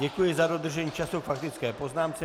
Děkuji za dodržení času k faktické poznámce.